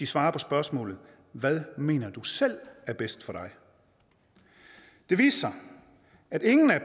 svare på spørgsmålet hvad mener du selv er bedst for dig det viste sig at ingen af